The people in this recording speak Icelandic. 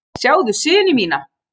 Sjáðu syni mína!